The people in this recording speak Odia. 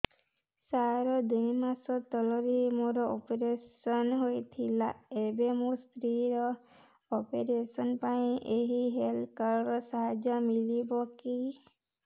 ସାର ଦୁଇ ମାସ ତଳରେ ମୋର ଅପେରସନ ହୈ ଥିଲା ଏବେ ମୋ ସ୍ତ୍ରୀ ର ଅପେରସନ ପାଇଁ ଏହି ହେଲ୍ଥ କାର୍ଡ ର ସାହାଯ୍ୟ ମିଳିବ କି